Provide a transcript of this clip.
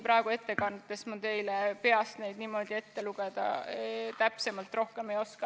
Praegu ma teile peast neid niimoodi täpsemalt ette lugeda rohkem ei oska.